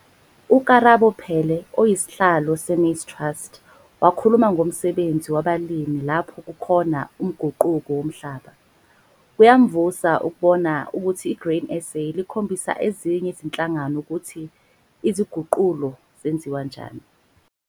UKarabo Peele, Usihlalo- Maize Trust, wakhuluma ngomsebenzi wabalimi lapho kukhona umguquko womhlaba. Kuyamvusa ukubona ukuthi iGrain SA likhombisa ezinye izihlangano ukubona ukuthi isiguqulo senziwa njani.